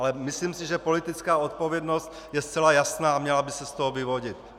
Ale myslím si, že politická odpovědnost je zcela jasná a měla by se z toho vyvodit.